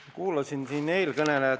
Ma kuulasin ühte eelkõnelejat.